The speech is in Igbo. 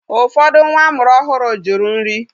Ụfọdụ nwa amụrụ ọhụrụ jụrụ nri.